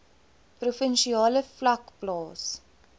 provinsiale vlak plaas